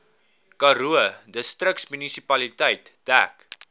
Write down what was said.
karoo distriksmunisipaliteit dek